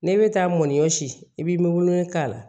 N'e bɛ taa mɔnijɔ si i bɛ wolo k'a la